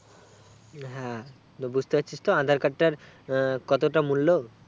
হ্যাঁ, তাহলে বুজতে পারছিস তো aadhar card টার কতটা মূল্য